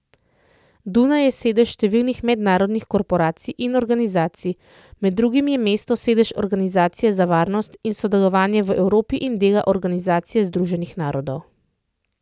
Dunaj je sedež številnih mednarodnih korporacij in organizacij, med drugim je mesto sedež Organizacije za varnost in sodelovanje v Evropi in dela Organizacije Združenih narodov.